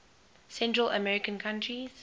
central american countries